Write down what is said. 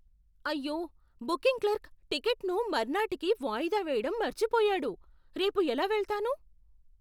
అయ్యో! Booking clerk టికెట్టును మర్నాటికి వాయిదా వేయడం మర్చిపోయాడు. రేపు ఎలా వెళతాను?